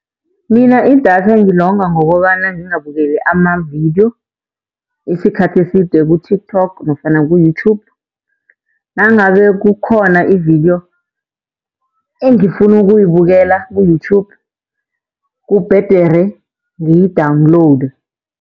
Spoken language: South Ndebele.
Mina idatha ngilonga ngokobana ngingabukeli amavidiyo isikhathi eside ku-TikTok nofana ku-YouTube. Nangabe kukhona ividiyo engifuna ukuyibukela ku-YouTube kubhedere ngiyi-download.